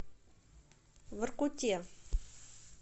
воркуте